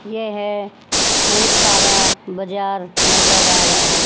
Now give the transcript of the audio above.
यह बहुत सारा बजार नजर आ रहा--